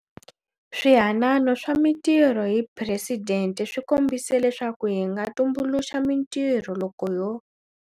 Swihanano swa Mitirho hi Presidente swi kombise leswaku hi nga tumbuluxa mitirho loko ho.